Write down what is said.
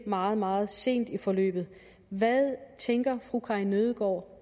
meget meget sent i forløbet hvad tænker fru karin nødgaard